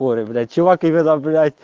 чувак это блядь